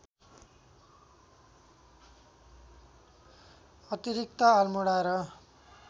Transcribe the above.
अतिरिक्त अल्मोडा र